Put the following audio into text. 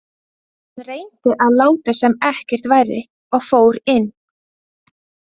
Hann reyndi að láta sem ekkert væri og fór inn.